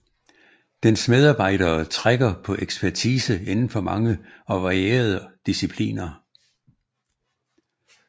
Dens medarbejdere trækker på ekspertise inden for mange og varierede discipliner